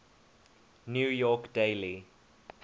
new york daily